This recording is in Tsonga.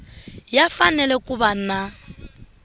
ya fanele ku va na